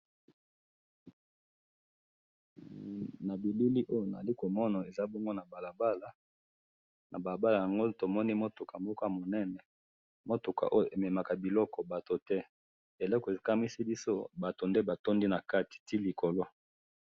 Na bilili oyo nazali komona ,eza bongo na balabala ,na balabala yango tomoni mutuka moko ya monene ,mutuka oyo ememaka biloko batu te eloko ekamwisi biso batu nde batondi na kati ti likolo